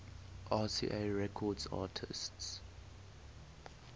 rca records artists